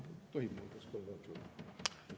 Kas tohib paluda kolm minutit?